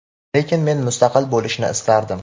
lekin men mustaqil bo‘lishni istardim.